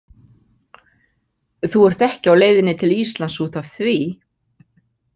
Þú ert ekki á leiðinni til Íslands út af því?